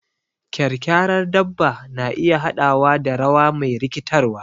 Kyarkyarar dabba na iya haɗawa da rawa me rikitarwa.